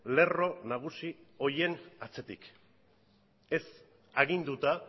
lerro nagusi horien atzetik ez aginduta